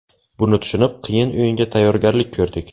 Buni tushunib, qiyin o‘yinga tayyorgarlik ko‘rdik.